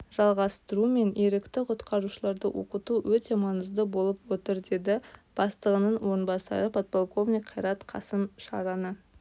жалғастыру мен ерікті-құтқарушыларды оқыту өте маңызды болып отыр деді бастығының орынбасары подполковник қайрат қасым шараны